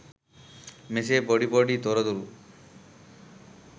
මෙසේ පොඩි පොඩි තොරතුරු